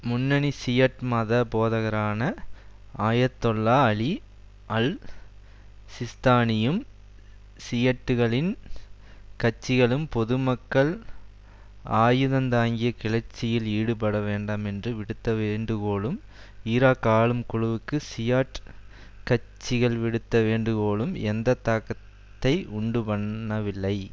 முன்னணி ஷியட் மத போதகரான ஆயத்தொல்லா அலி அல் சிஸ்தானியும் ஷியட்டுகளின் கட்சிகளும் பொதுமக்கள் ஆயுதந்தாங்கிய கிளர்ச்சியில் ஈடுபட வேண்டாம் என்று விடுத்த வேண்டுகோளும் ஈராக் ஆளும் குழுவுக்கு ஷியாட் கட்சிகள் விடுத்த வேண்டுகோள்களும் எந்த தாக்கத்தை உண்டு பண்ணவில்லை